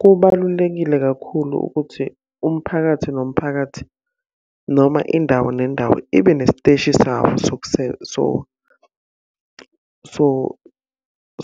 Kubalulekile kakhulu ukuthi umphakathi nomphakathi noma indawo nendawo ibe nesiteshi sawo